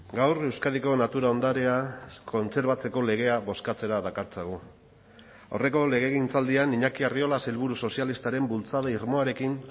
gaur euskadiko natura ondarea kontserbatzeko legea bozkatzera dakartzagu aurreko legegintzaldian iñaki arriola sailburu sozialistaren bultzada irmoarekin